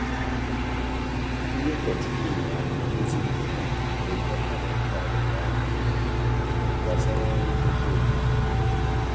Ndị ụkọchukwu nyere aka idozi esemokwu mgbe arụmụka siri ike banyere ọrụ mmepe ọrụ mmepe ógbè.